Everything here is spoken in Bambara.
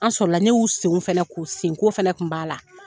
An sɔrɔ la, ne y'u sen fɛnɛ ko, sen ko fɛnɛ kun b'a la.